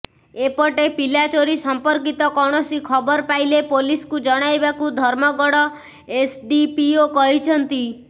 ଏପଟେ ପିଲା ଚୋରି ସମ୍ପର୍କିତ କୌଣସି ଖବର ପାଇଲେ ପୋଲିସକୁ ଜଣାଇବାକୁ ଧର୍ମଗଡ ଏସଡିପିଓ କହିଛନ୍ତି